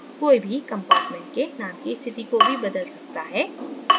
कोई भी compartment के name की स्थिति को भी बदल सकता है